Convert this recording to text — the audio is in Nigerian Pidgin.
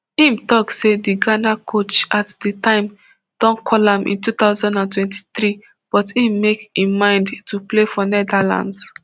im tok say di ghana coach at di time don call am in two thousand and twenty-three but im make im mind to play for netherlands